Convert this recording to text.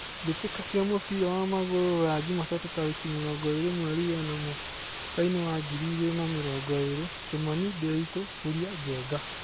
Mbĩtĩka cia mũbira wa magũrũ Ruraya Jumatatũ tarĩki mĩrongo ĩrĩ mweri wena mwakainĩ wa ngiri igĩrĩ na mĩrongo ĩrĩ: Kimani, Ndiritu, Kuria, Njenga.